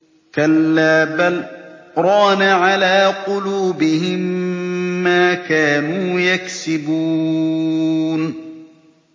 كَلَّا ۖ بَلْ ۜ رَانَ عَلَىٰ قُلُوبِهِم مَّا كَانُوا يَكْسِبُونَ